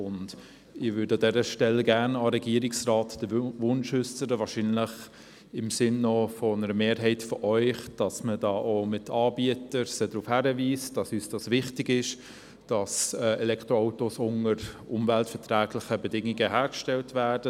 An dieser Stelle möchte ich meinen Wunsch an den Regierungsrat richten, wahrscheinlich auch im Sinn einer Mehrheit hier im Saal, Anbieter auf die Wichtigkeit hinzuweisen, dass Elektroautos, soweit es vom Arbeitsrecht her möglich ist, unter umweltverträglichen Bedingungen hergestellt werden.